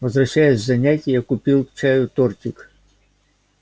возвращаясь с занятий я купил к чаю тортик